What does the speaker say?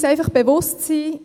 Wir müssen uns bewusst sein: